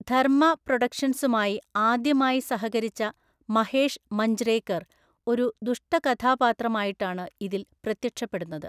ധർമ്മ പ്രൊഡക്ഷൻസുമായി ആദ്യമായി സഹകരിച്ച മഹേഷ് മഞ്ജ്രേക്കർ ഒരു ദുഷ്ടകഥാപാത്രമായിട്ടാണ് ഇതിൽ പ്രത്യക്ഷപ്പെടുന്നത്.